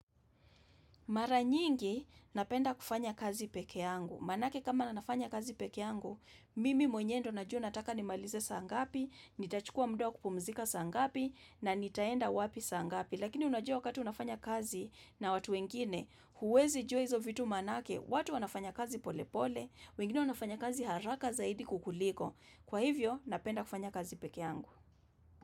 Mara nyingi, napenda kufanya kazi peke yangu. Manake kama na nafanya kazi pekeangu, mimi mwenyendo na juo nataka ni malize saangapi, nitachukua muda wa kupumzika saa ngapi, na nitaenda wapi saa ngapi. Lakini unajua wakati unafanya kazi na watu wengine, huwezi jua hizo vitu maanake, watu wanafanya kazi polepole, wengine wanafanya kazi haraka zaidi kukuliko. Kwa hivyo, napenda kufanya kazi pekeangu.